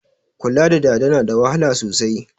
Kula da dada na da wahala sosai